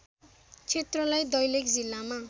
क्षेत्रलाई दैलेख जिल्लामा